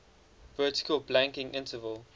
vertical blanking interval